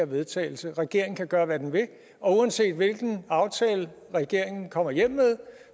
vedtagelse regeringen kan gøre hvad den vil og uanset hvilken aftale regeringen kommer hjem med